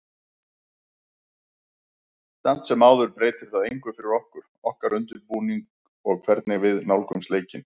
Samt sem áður breytir það engu fyrir okkur, okkar undirbúning og hvernig við nálgumst leikinn.